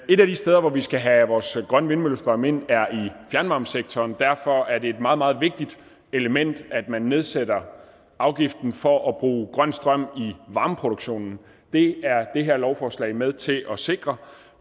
et af de steder hvor vi skal have vores grønne vindmøllestrøm ind er i fjernvarmesektoren derfor er det et meget meget vigtigt element at man nedsætter afgiften for at bruge grøn strøm i varmeproduktionen det er det her lovforslag med til at sikre